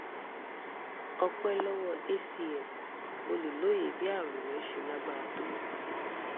ọpẹ́ lọ́wọ́ hcm mo lè lóye bí àrùn rẹ ṣe lágbára tó